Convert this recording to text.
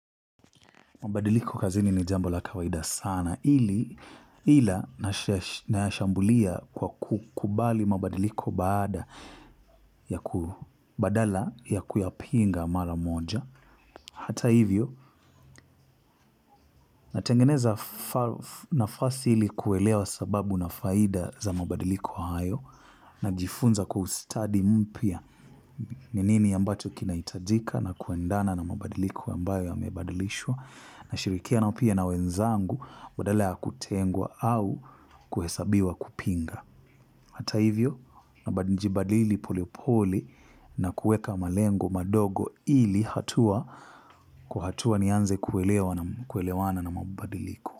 Mabadiliko kazini ni jambo la kawaida sana ili ila. Nayashambulia kwa kukubali mabadiliko baada ya ku badala ya kuyapinga mara moja. Hata hivyo, natengeneza nafasi ili kuelewa sababu na faida za mabadiliko hayo najifunza kwa ustadi mpya. Ni nini ambacho kinaitajika na kuendana na mabadiliko ambayo yamebadilishwa. Nashirikiana upia na wenzangu, badala ya kutengwa au kuhesabiwa kupinga hata hivyo, nabadinji badili pole pole na kueka malengo madogo ili hatua kwa hatua nianze kuelewa na kuelewana na mabadiliko.